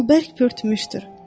O bərk pörtmüşdür.